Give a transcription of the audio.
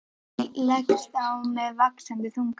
Skammdegið leggst á með vaxandi þunga.